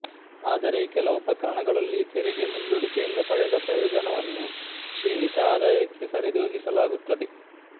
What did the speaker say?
ಆದರೆ ಕೆಲವು ಪ್ರಕರಣಗಳಲ್ಲಿ ತೆರಿಗೆ ಮುಂದೂಡಿಕೆಯಿಂದ ಪಡೆದ ಪ್ರಯೋಜನವನ್ನು ಕ್ಷೀಣಿತ ಆದಾಯಕ್ಕೆ ಸರಿದೂಗಿಸಲಾಗುತ್ತದೆ